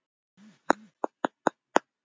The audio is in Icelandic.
Ég veit að þau munu gera það.